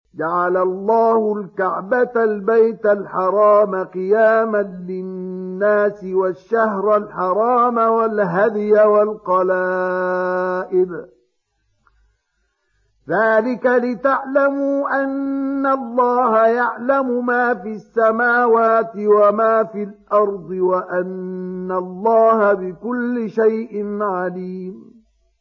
۞ جَعَلَ اللَّهُ الْكَعْبَةَ الْبَيْتَ الْحَرَامَ قِيَامًا لِّلنَّاسِ وَالشَّهْرَ الْحَرَامَ وَالْهَدْيَ وَالْقَلَائِدَ ۚ ذَٰلِكَ لِتَعْلَمُوا أَنَّ اللَّهَ يَعْلَمُ مَا فِي السَّمَاوَاتِ وَمَا فِي الْأَرْضِ وَأَنَّ اللَّهَ بِكُلِّ شَيْءٍ عَلِيمٌ